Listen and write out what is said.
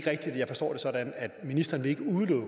sådan at ministeren ikke